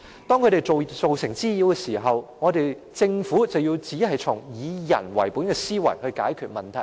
當牠們造成滋擾時，政府卻只從"以人為本"的思維來解決問題。